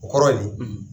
O kɔrɔ ye nin